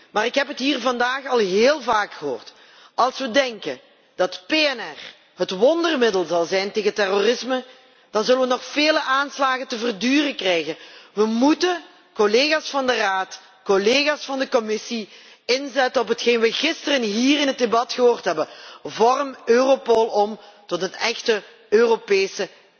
Maar ik heb het hier vandaag al heel vaak gehoord als we denken dat PNR het wondermiddel zal zijn tegen terrorisme, dan zullen we nog heel wat aanslagen te verduren krijgen. We moeten, collega's van de Raad, collega's van de Commissie, inzetten op hetgeen wij gisteren hier in het debat gehoord hebben vorm Europol om tot een echte Europese